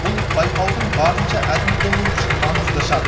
бұл байқаудың барынша әділ болуы үшін маңызды шарт